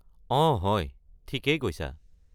অঁ হয়, ঠিকেই কৈছা।